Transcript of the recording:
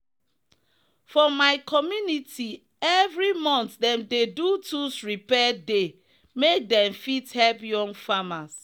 for my community every month them dey do tools repair day make them fit help young famers.